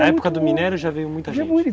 Na época do minério já veio muita gente